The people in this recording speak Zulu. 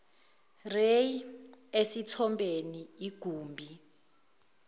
ray esithombeni igumbi